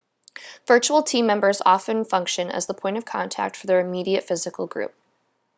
virtual team members often function as the point of contact for their immediate physical group